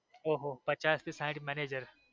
ઓહોહો પચાસ થી સાંઠ મેનેજર.